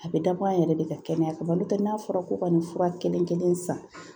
A bɛ dabɔ an yɛrɛ de ka kɛnɛya kama ba n'a fɔra ko ka nin fura kelen-kelen san